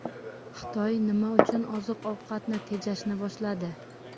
Xitoy nima uchun oziq-ovqatni tejashni boshladi?